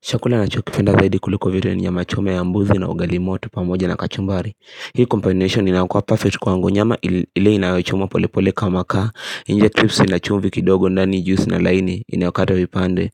Chakula ninachokipenda zaidi kuliko vile ni nyama chome ya mbuzi na ugali moto pamoja na kachumbari Hii combination inakua perfect kwangu nyama ile inayochumwa pole pole kwa makaa nje cripsy ina chumvi kidogo nani juisi na laini inayokata vipande